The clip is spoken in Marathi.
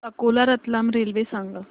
अकोला रतलाम रेल्वे सांगा